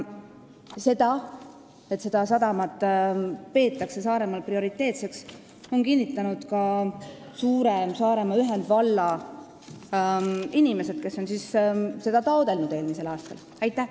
Seda, et seda sadamat peetakse Saaremaal prioriteetseks, on kinnitanud ka suure Saaremaa ühendvalla inimesed, kes sadama süvendamist eelmisel aastal taotlesid.